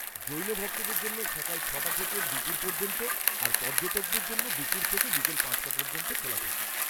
জৈন ভক্তদের জন্য সকাল ছ'টা থেকে দুপুর পর্যন্ত আর পর্যটকদের জন্য দুপুর থেকে বিকেল পাঁচটা পর্যন্ত খোলা থাকে।